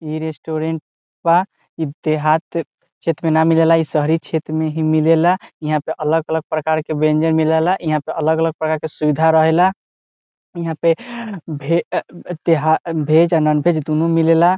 इ रेस्टोरेंट बा इ देहात छेत्र में न मिले ला शहरी छेत्र में ही मिले ला इहा अलग अलग प्रकार के वयंजन मिले ला इहा अलग अलग प्रकार के सुविधा रहे ला यहाँ पे भे तेहार देहात भेज और नॉन वेज दुनो मिले ला।